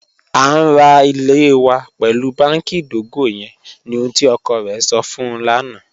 A n ra ilẹ̀ wa pẹlu bánkì idogo yẹn ni ohun tí ọkọ rẹ̀ sọ̀ fun ń lana